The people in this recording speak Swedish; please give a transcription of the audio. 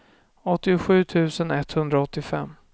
åttiosju tusen etthundraåttiofem